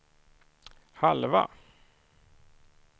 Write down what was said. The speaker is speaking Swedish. halva